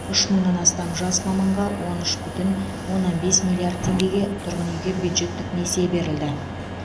үш мыңнан астам жас маманға он үш бүтін оннан бес миллиард теңгеге тұрғын үйге бюджеттік несие берілді